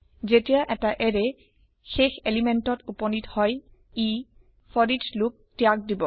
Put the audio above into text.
যেতিয়া এটা এৰেয় শেষ পদাৰ্থত উপনীত হয় ই ফৰিচ লোপ ত্যাগ দিব